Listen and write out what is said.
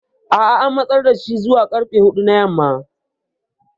A'a an matsar da shi zuwa karfe hudu na yamma.